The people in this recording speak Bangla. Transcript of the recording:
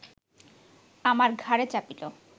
আমার ঘাড়ে চাপিল